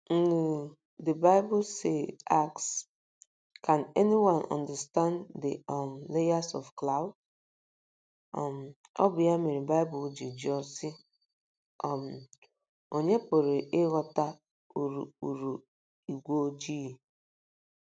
ngly, the Bible asks: “ Can anyone understand the um layers of clouds? um ” Ọ bụ ya mere Baịbụl ji jụọ, sị: um “ Ònye pụrụ ịghọta urukpuru ígwé ojii? ”